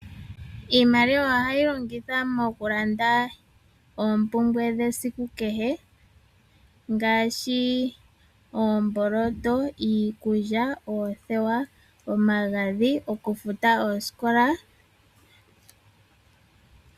Iimaliwa ohayi longithwa mokulanda oompumbwe dhesiku kehe, ngaashi oomboloto, iikulya, oothewa, omagadhi nokufuta oosikola.